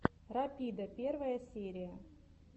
рапида первая серия